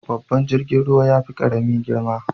Babban jirgin ruwa yafi karami girma.